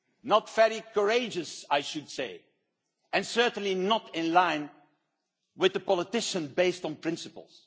Not very courageous, I should say, and certainly not in line with a politician based on principles.